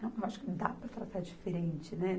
Não, eu acho que dá para tratar diferente, né?